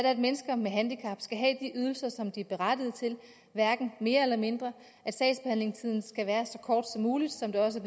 at mennesker med handicap skal have de ydelser som de er berettiget til hverken mere eller mindre at sagsbehandlingstiden skal være så kort som muligt som det også